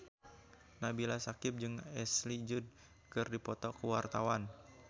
Nabila Syakieb jeung Ashley Judd keur dipoto ku wartawan